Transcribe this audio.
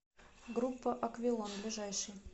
группа аквилон ближайший